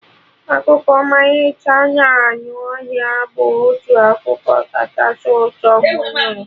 Akụkọ ọmalịcha na anụ ọhịa bụ otu akụkọ kachasị ụtọ mụ nụrụ